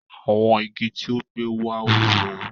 Awọn ígí́ tí ó gbẹ wá wúwò.